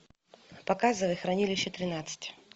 показывай хранилище тринадцать